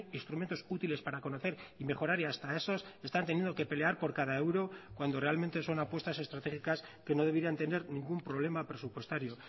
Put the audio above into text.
instrumentos útiles para conocer y mejorar y hasta esos están teniendo que pelear por cada euro cuando realmente son apuestas estratégicas que no deberían tener ningún problema presupuestario